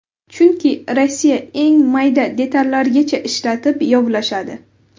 Chunki Rossiya eng mayda detallargacha ishlatib yovlashadi.